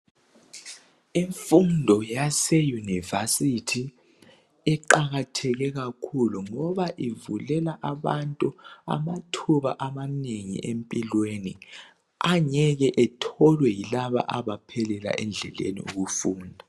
Imfundo yaseyunivesithi eqakatheke kakhulu ngoba ivulela abantu amathuba amanengi empilweni angeke etholwe yilaba abaphelela endleleni ngokufunda